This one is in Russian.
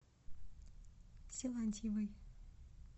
силантьевой